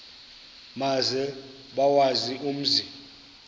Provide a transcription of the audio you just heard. maze bawazi umzi